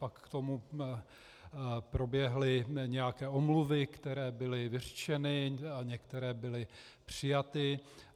Pak k tomu proběhly nějaké omluvy, které byly vyřčeny, a některé byly přijaty.